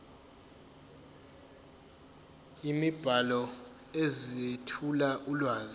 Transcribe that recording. imibhalo ezethula ulwazi